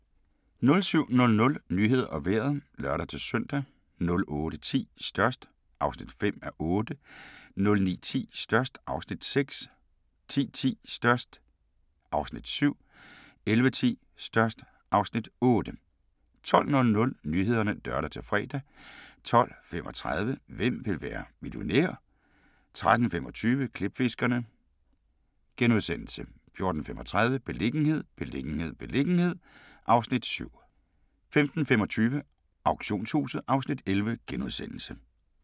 07:00: Nyhederne og Vejret (lør-søn) 08:10: Størst (5:8) 09:10: Størst (Afs. 6) 10:10: Størst (Afs. 7) 11:10: Størst (Afs. 8) 12:00: Nyhederne (lør-fre) 12:35: Hvem vil være millionær? 13:35: Klipfiskerne * 14:35: Beliggenhed, beliggenhed, beliggenhed (Afs. 7) 15:25: Auktionshuset (Afs. 11)*